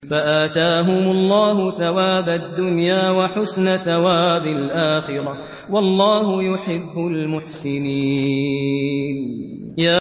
فَآتَاهُمُ اللَّهُ ثَوَابَ الدُّنْيَا وَحُسْنَ ثَوَابِ الْآخِرَةِ ۗ وَاللَّهُ يُحِبُّ الْمُحْسِنِينَ